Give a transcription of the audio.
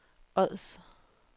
Ods